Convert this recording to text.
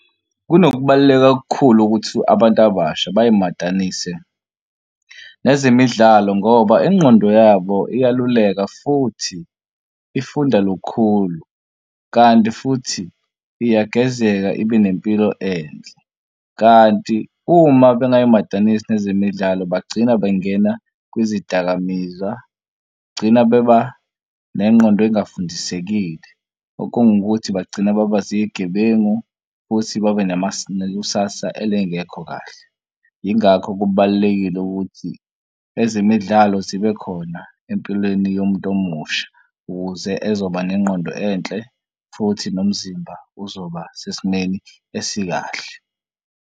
Kunokubaluleka okukhulu ukuthi abantu abasha bayimatanise nezemidlalo ngoba ingqondo yabo iyaluleka futhi ifunda lukhulu kanti futhi iyagezeka ibe nempilo enhle. Kanti uma bengayimatanisi nezemidlalo bagcina bengena kwezidakamizwa gcina bebade nengqondo ezingafundisekile okungukuthi bagcine baba zigebengu futhi babe nekusasa elingekho kahle. Yingakho kubalulekile ukuthi ezemidlalo zibe khona empilweni yomuntu omusha ukuze ezoba nengqondo enhle futhi nomzimba uzoba sesimeni esikahle.